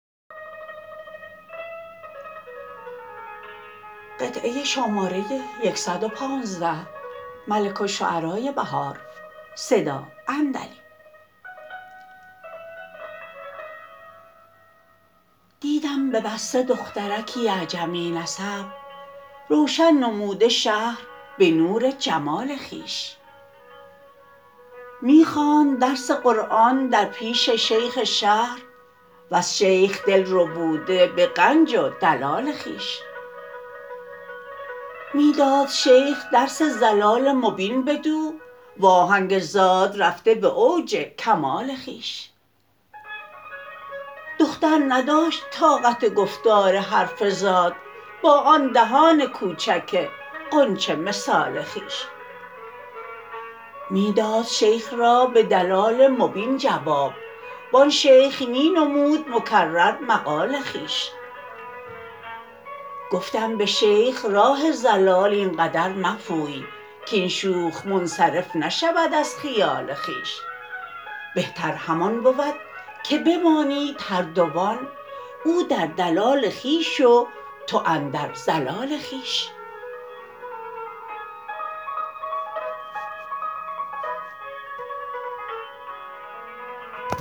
دیدم به بصره دخترکی اعجمی نسب روشن نموده شهر به نور جمال خویش می خواند درس قرآن در پیش شیخ شهر وز شیخ دل ربوده به غنج و دلال خویش می داد شیخ درس ضلال مبین بدو و آهنگ ضاد رفته به اوج کمال خویش دختر نداشت طاقت گفتار حرف ضاد با آن دهان کوچک غنچه مثال خویش می داد شیخ را به دلال مبین جواب وان شیخ می نمود مکرر مقال خویش گفتم به شیخ راه ضلال این قدر مپوی کاین شوخ منصرف نشود از خیال خویش بهتر همان بود که بمانید هر دوان او در دلال خویش و تو اندر ضلال خویش